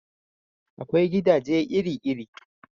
Akwai gidaje iri iri